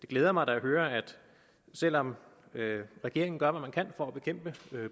glæder mig at høre at selv om regeringen gør hvad den kan for at bekæmpe